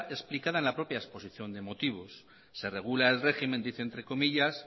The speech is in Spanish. explicada en la propia exposición de motivos se regula el régimen dice entre comillas